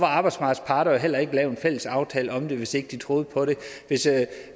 arbejdsmarkedets parter jo heller ikke lavet en fælles aftale om det altså hvis ikke de troede på det